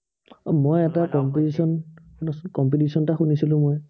মই এটা competition শুনাছোন, competition এটা শুনিছিলো মই।